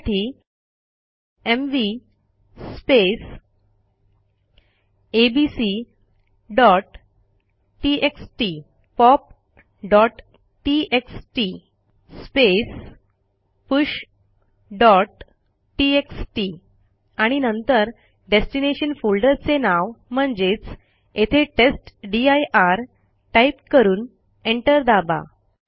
त्यासाठी mv abc TXT pop TXT push TXT आणि नंतर डेस्टिनेशन फोल्डरचे नाव म्हणजेच येथे टेस्टदीर टाईप करून एंटर दाबा